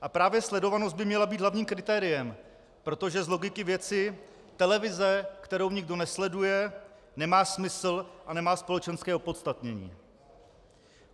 A právě sledovanost by měla být hlavním kritériem, protože z logiky věci televize, kterou nikdo nesleduje, nemá smysl a nemá společenské opodstatnění.